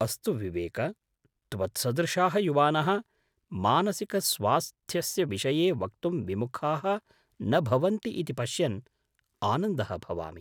अस्तु विवेक, त्वत्सदृशाः युवानः मानसिकस्वास्थ्यस्य विषये वक्तुं विमुखाः न भवन्ति इति पश्यन् आनन्दः भवामि।